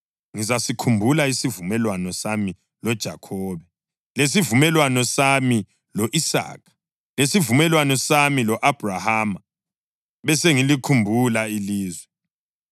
ngizasikhumbula isivumelwano sami loJakhobe, lesivumelwano sami lo-Isaka, lesivumelwano sami lo-Abhrahama, besengilikhumbula ilizwe.